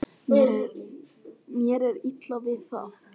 Mér er illa við það.